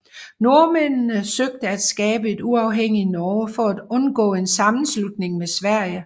Nordmændene søgte at skabe et uafhængigt Norge for at undgå en sammenslutning med Sverige